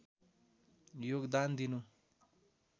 योगदान दिनु